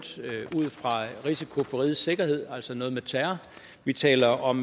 risiko for rigets sikkerhed altså noget med terror vi taler om